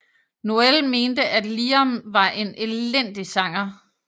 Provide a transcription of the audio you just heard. Noel mente at Liam var en elendig sanger